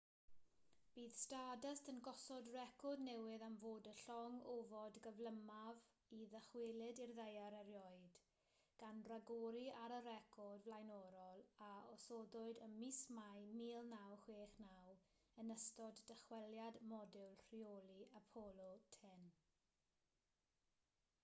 bydd stardust yn gosod record newydd am fod y llong ofod gyflymaf i ddychwelyd i'r ddaear erioed gan ragori ar y record flaenorol a osodwyd ym mis mai 1969 yn ystod dychweliad modiwl rheoli apollo x